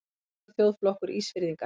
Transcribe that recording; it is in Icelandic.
Merkilegur þjóðflokkur, Ísfirðingar!